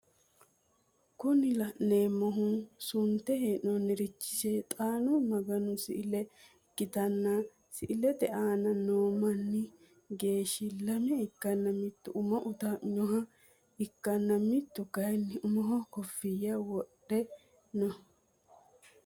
Kuni laneemmohu suntte honoonirichi seexaanu maganno si'ile ikkitanna si'lete aana noo manni geeshi lame ikkana mittu umo utaaminoha ikkanna mittu kaayiin umoho koffiya wodhe no